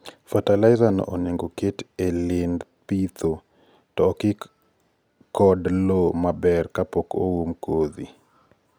fertilizer no onego oket e lind pidho to okik od loo maber kapok oum kodhi. Fertilizer ma foliar.